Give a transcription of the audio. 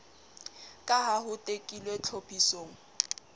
ka ha ho tekilwe tlhophisong